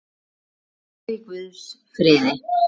Farðu í Guðs friði.